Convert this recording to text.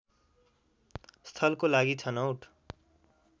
स्थलको लागि छनौट